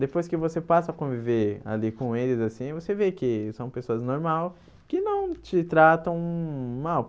Depois que você passa a conviver ali com eles, assim, você vê que são pessoas normais, que não te tratam mal.